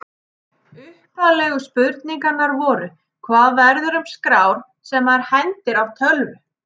Upphaflegu spurningarnar voru: Hvað verður um skrár sem maður hendir af tölvu?